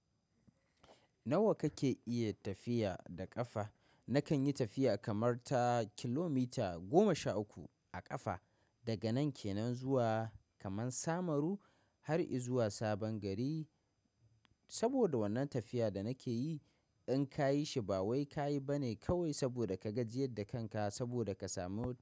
Nawa kake iya tafiya da ƙafa? Nakan yi tafiya kamar ta kilomita goma sha uku a ƙafa daga nan ke nan zuwa kaman Samaru har i zuwa Sabon Gari. Saboda wannan tafiya da nake yi in ka yi shi ba wai ka yi ba ne kawai saboda ka gajiyar da kanka saboda ka samu ruwa.